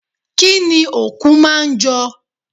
Kínni òkú máa jọ?